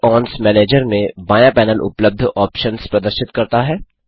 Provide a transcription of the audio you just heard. add ons manager में बायाँ panel उपलब्ध ऑप्शन्स प्रदर्शित करता है